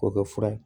K'o kɛ fura ye